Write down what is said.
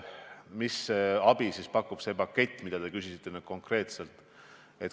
Millist abi pakub neile see pakett, mille kohta te küsisite?